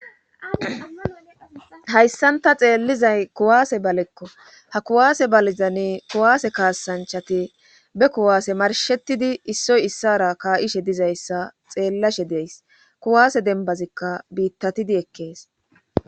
Hayssanta xeellizay kuwaase balekko ha kuwaase balizanne kuwaase kaasanchati be kuwaase marshetidi issoy issara kaa'ishe dizayssa xeellashe deys kuwaase denbazikka biittatidi ekkees.